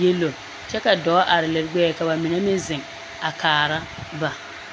yɛlooo kyɛ ka dɔɔ are liri ɡbɛɛ ka ba mine meŋ zeŋ a kaara ba.